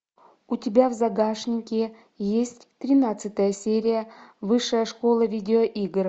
у тебя в загашнике есть тринадцатая серия высшая школа видеоигр